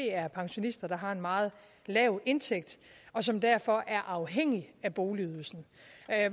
er pensionister der har en meget lav indtægt og som derfor er afhængige af boligydelsen